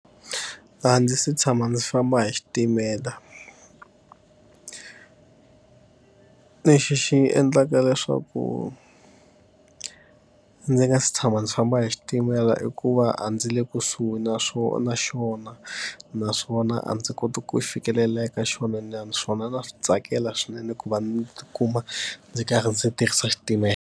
A ndzi se tshama ndzi famba hi xitimela lexi xi endlaka leswaku ndzi nga si tshama ndzi famba hi xitimela i ku va a ndzi le kusuhi na na xona, naswona a ndzi koti ku fikelela eka xona naswona na swi tsakela swinene ku va ndzi tikuma ndzi karhi ndzi tirhisa xitimela.